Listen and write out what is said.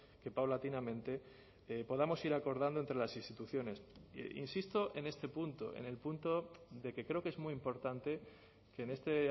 que paulatinamente podamos ir acordando entre las instituciones insisto en este punto en el punto de que creo que es muy importante que en este